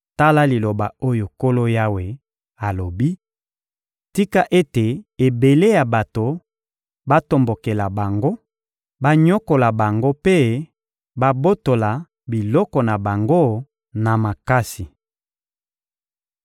Tala liloba oyo Nkolo Yawe alobi: Tika ete ebele ya bato batombokela bango, banyokola bango mpe babotola biloko na bango na makasi!